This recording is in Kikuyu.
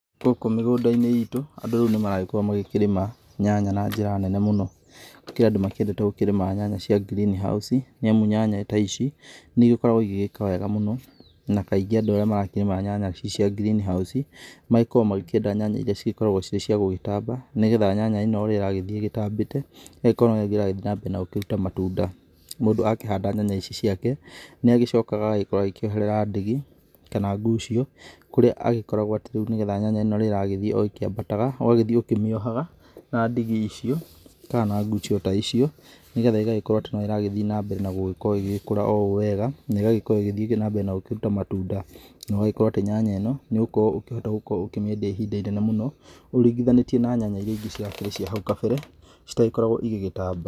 Gũkũ mĩgũnda-inĩ ĩtũ andũ rĩu nĩmaragĩkorwo magĩkĩrĩma nyanya na njĩra nene mũno. Kũrĩ andũ makĩendete gũkĩrĩma nyanya cia green house nĩamu nyanya ta ici nĩ ĩgĩkoragwo ĩgĩgĩka wega mũno na kaingĩ andũ arĩa marakĩrĩma nyanya ici cia green house magĩkoragwo magĩkĩenda nyanya ĩria cĩgĩkoragwo cirĩ ciagũgĩtamba nĩgetha nyanya ĩno ũrĩa ĩragĩthĩĩ ĩtambĩte ĩgagĩkorwo noguo ĩragĩthĩ nambere na gũkĩruta matunda. Mũndũ akĩhanda nyanya ici ciake nĩ agĩcokaga agokorwo agĩkĩoherera ndigi kana ngucio kũrĩa agĩkoragwo atĩ rĩu nĩgetha nyanya ĩno ũrĩa ĩragĩthĩĩ o ĩkĩambataga ũgagĩthĩĩ ũkĩmĩohaga na ndigi icio ka na ngucio ta icio nĩgetha ĩgagĩkorwo atĩ no ĩragĩthĩĩ na mbere na gũkorwo ĩgĩgĩkũra o ũũ wega na ĩgagĩkorwo ĩgĩthĩĩ nambere na gũkĩruta matunda. Na ũgagĩkorwo atĩ nyanya ĩno nĩ ũgũkorwo ũkĩhota kũmeindia ihinda ĩnene mũno ũringĩthanĩtie na nyanya ĩria ĩngĩ ciakĩre cia hau kabere citagĩkoragwo ĩgĩgĩtamba.